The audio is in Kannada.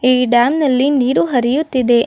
ಈ ಡ್ಯಾಂ ನಲ್ಲಿ ನೀರು ಹರಿಯುತ್ತಿದೆ.